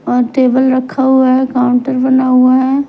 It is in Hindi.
और टेबल रखा हुआ है काउंटर बना हुआ है।